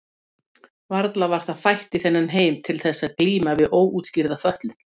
Varla var það fætt í þennan heim til þess eins að glíma við óútskýrða fötlun?